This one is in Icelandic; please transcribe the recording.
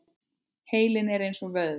Heilinn er eins og vöðvi.